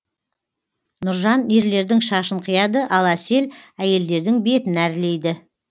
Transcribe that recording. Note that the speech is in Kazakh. нұржан ерлердің шашын қияды ал әсел әйелдердің бетін әрлейді